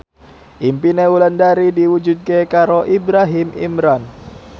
impine Wulandari diwujudke karo Ibrahim Imran